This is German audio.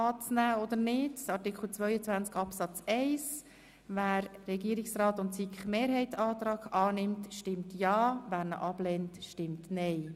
Wer den Antrag von Regierungsrat und SiK-Mehrheit annimmt, stimmt ja, wer ihn ablehnt, stimmt nein.